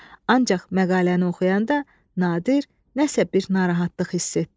Ancaq məqaləni oxuyanda Nadir nəsə bir narahatlıq hiss etdi.